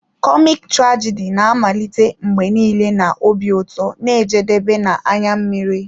Kọmik trajidi na-amalite mgbe niile na obi ụtọ na-ejedebe na anya mmiri.